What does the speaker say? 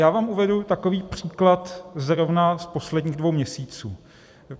Já vám uvedu takový příklad zrovna z posledních dvou měsíců.